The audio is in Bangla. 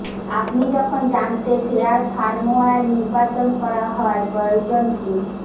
আপনি যখন জানতে শেয়ার ফার্মওয়্যার নির্বাচন করা হয় প্রয়োজন কি